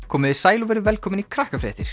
komiði sæl og verið velkomin í